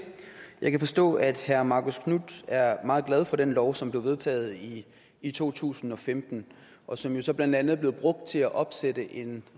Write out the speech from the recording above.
jeg kan forstå at herre marcus knuth er meget glad for den lov som blev vedtaget i to tusind og femten og som jo så blandt andet blev brugt til at opsætte en